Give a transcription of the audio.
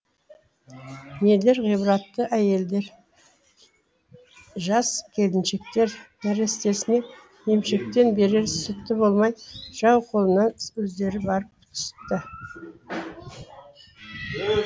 нелер ғибратты әйелдер жас келіншектер нәрестесіне емшектен берер сүті болмай жау қолына өздері барып түсті